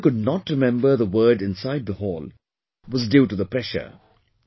Why you could not remember the word inside the hall, was due to the pressure